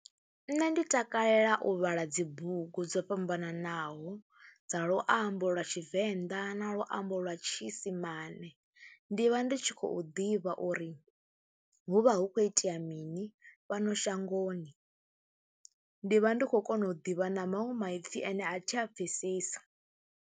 Nṋe ndi takalela u vhala dzi bugu dzo fhambananaho dza luambo lwa Tshivenḓa na luambo lwa tshiisimane, ndi vha ndi tshi khou ḓivha uri hu vha hu khou itea mini fhano shangoni, ndi vha ndi khou kona u ḓivha na maṅwe maipfi ane a thi a pfhesesi.